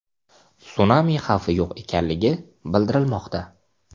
Sunami xavfi yo‘q ekanligi bildirilmoqda.